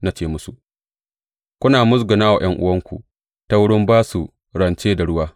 Na ce musu, Kuna musguna wa ’yan’uwanku ta wurin ba su rance da ruwa!